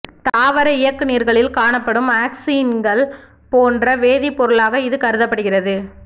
தாவர இயக்குநீர்களில் காணப்படும் ஆக்சின்கள் போன்ற வேதிப் பொருளாக இது கருதப்படுகிறது